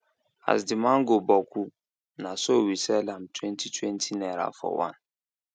as the mango boku na so we sell am twenty twenty naira for one